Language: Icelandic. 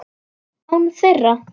Án þeirra.